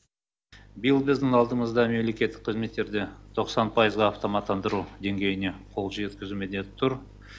биыл біздің алдымызда мемлекеттік қызметтерде тоқсан пайызға автоматтандыру деңгейіне қол жеткізу міндеті тұр